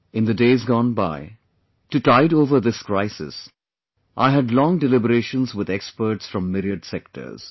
in the days gone by, to tide over this crisis, I had long deliberations with experts from myriad sectors